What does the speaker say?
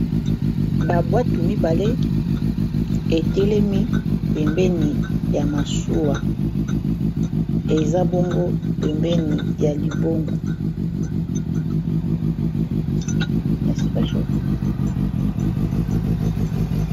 Ba bwatu mibale etelemi pembeni ya masuwa eza bongo pembeni ya libongo.